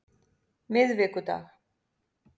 miðvikudag